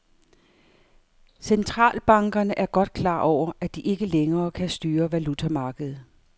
Centralbankerne er godt klar over, at de ikke længere kan styre valutamarkedet.